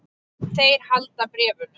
Þeir halda bréfunum.